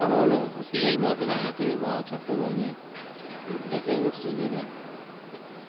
ভালো ভালো Hospital গুলো আছে ঢাকাতে বা চট্টগ্রামে এটা খেয়াল করছে কিনা জানিনা